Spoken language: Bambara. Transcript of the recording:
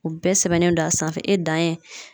O bɛɛ sɛbɛnnen don a sanfɛ e dan ye